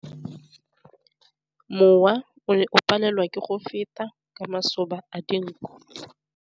Mowa o ne o palelwa ke go feta ka masoba a dinko.